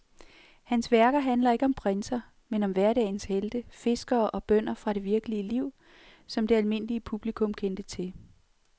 Hans værker handler ikke om prinser, men om hverdagens helte, fiskere og bønder fra det virkelige liv, som det almindelige publikum kendte til.